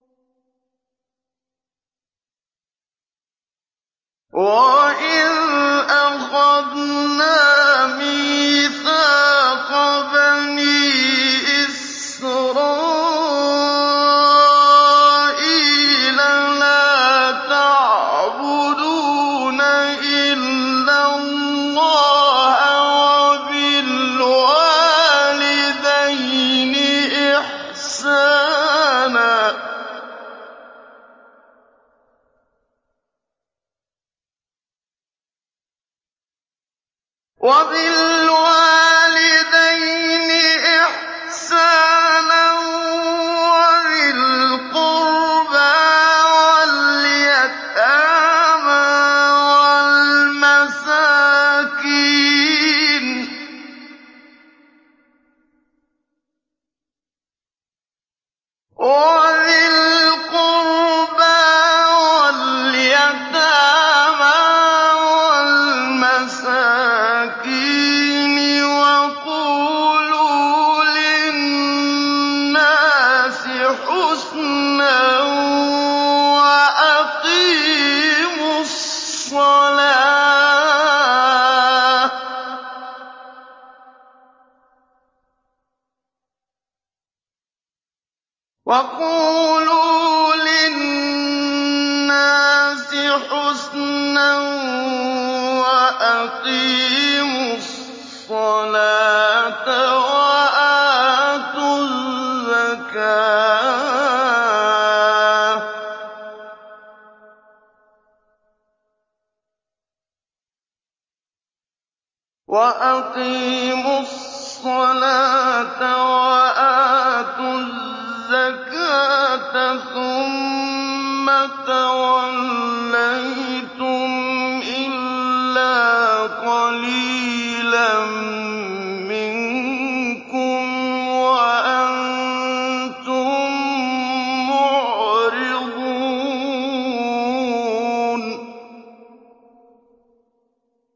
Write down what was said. وَإِذْ أَخَذْنَا مِيثَاقَ بَنِي إِسْرَائِيلَ لَا تَعْبُدُونَ إِلَّا اللَّهَ وَبِالْوَالِدَيْنِ إِحْسَانًا وَذِي الْقُرْبَىٰ وَالْيَتَامَىٰ وَالْمَسَاكِينِ وَقُولُوا لِلنَّاسِ حُسْنًا وَأَقِيمُوا الصَّلَاةَ وَآتُوا الزَّكَاةَ ثُمَّ تَوَلَّيْتُمْ إِلَّا قَلِيلًا مِّنكُمْ وَأَنتُم مُّعْرِضُونَ